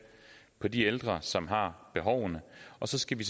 på de ældre som har behovene og så skal vi